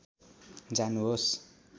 जानुहोस्